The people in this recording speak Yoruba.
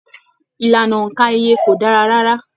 Ìlànà óńka ìyè kò dára rárá.